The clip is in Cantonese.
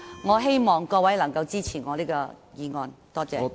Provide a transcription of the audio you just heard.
我希望各位能夠支持我的修正案，多謝。